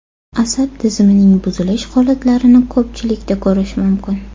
Asab tizimining buzilish holatlarini ko‘pchilikda ko‘rish mumkin.